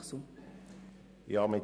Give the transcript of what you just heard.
Kommissionspräsident der FiKo.